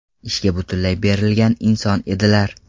Ishga butunlay berilgan inson edilar.